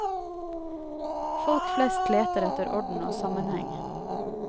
Folk flest leter etter orden og sammenheng.